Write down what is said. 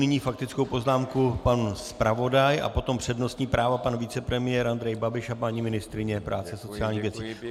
Nyní faktickou poznámku pan zpravodaj a potom přednostní právo pan vicepremiér Andrej Babiš a paní ministryně práce a sociálních věcí.